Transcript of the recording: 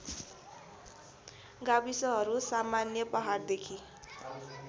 गाविसहरू सामान्य पहाडदेखि